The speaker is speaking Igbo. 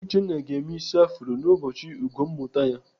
Uchenna ga-eme ịsị afro n'ụbọchị ugo mmụta ya.